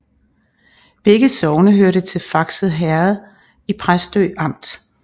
Begge sogne hørte til Fakse Herred i Præstø Amt